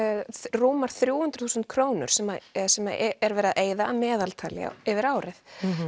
rúmar þrjú hundruð þúsund krónur sem er sem er verið að eyða að meðaltali yfir árið